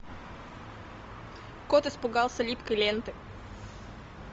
кот испугался липкой ленты